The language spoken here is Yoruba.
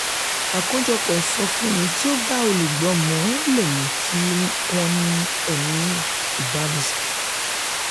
àkójọpọ̀ ìsọfúnni tó bá olùgbọ́ mu le mú kí wọ́n ní ẹ̀mí ìbánisọ̀rọ̀.